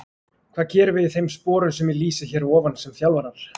Hvað gerum við í þeim sporum sem ég lýsi hér að ofan sem þjálfarar?